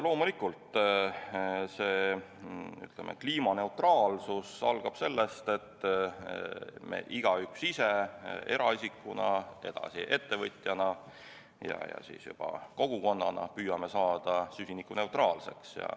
Loomulikult algab kliimaneutraalsus sellest, et me igaüks eraisikuna, seejärel ettevõtjana ja siis juba kogukonnana püüame saada süsinikuneutraalseks.